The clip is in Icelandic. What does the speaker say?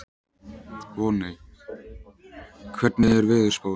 Voney, hvernig er veðurspáin?